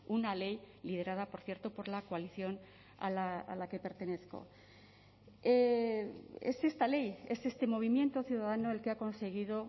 una ley liderada por cierto por la coalición a la que pertenezco es esta ley es este movimiento ciudadano el que ha conseguido